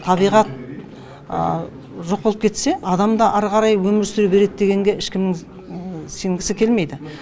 табиғат жоқ болып кетсе адам да ары қарай өмір сүре береді дегенге ешкімнің сенгісі келмейді